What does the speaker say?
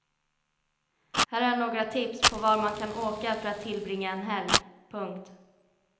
Här är några tips på var man kan åka för att tillbringa en helg. punkt